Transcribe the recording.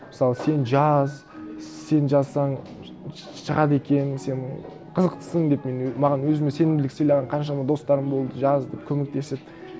мысалы сен жаз сен жазсаң шығады екен сен қызықтысың деп мен маған өзіме сенімділік сыйлаған қаншама достарым болды жаз деп көмектесіп